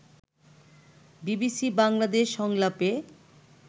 BBC Bangladesh সংলাপে